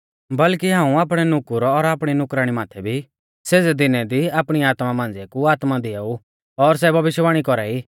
बल्कि हाऊं आपणै नुकुर और आपणी नुकराणी माथै भी सेज़ै दीनु दी आपणी आत्मा मांझ़िऐ कु आत्मा दिआऊ और सै भविष्यवाणी कौरा ई